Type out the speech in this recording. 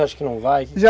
Você acha que não vai?